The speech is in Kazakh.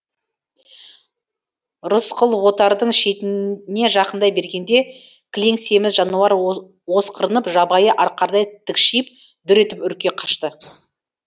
рысқұл отардың шетіне жақындай бергенде кілең семіз жануар осқырынып жабайы арқардай тікшиіп дүр етіп үрке қашты